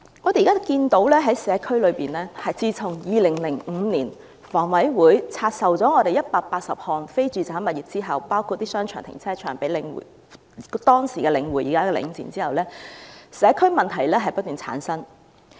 我們現在看到在社區內，自從香港房屋委員會在2005年拆售了180項非住宅物業——包括商場和停車場——給當時的領匯，即現時的領展後，社區問題不斷叢生。